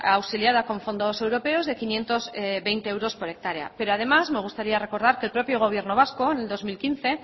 auxiliada con fondos europeos de quinientos veinte euros por hectárea pero además me gustaría recordar que el propio gobierno vasco en el dos mil quince